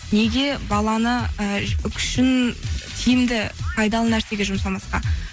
неге баланы і күшін тиімді пайдалы нәрсеге жұмсамасқа